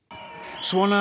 svona